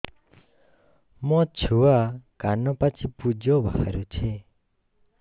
ମୋ ଛୁଆ କାନ ପାଚି ପୂଜ ବାହାରୁଚି